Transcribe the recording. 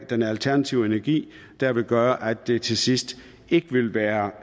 den alternative energi det vil gøre at det til sidst ikke vil være